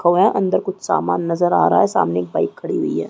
खड़ा है अंदर कुछ सामान नज़र आ रहा है सामने एक बाइक खड़ी हुई है।